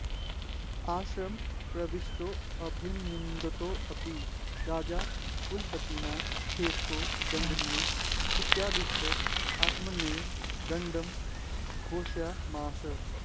आश्रमं प्रविष्टोऽभिनन्दितोऽपि राजा कुलपतिना खेटको दण्डनीय इत्यादिष्ट आत्मानमेव दण्ड्यं घोषयामास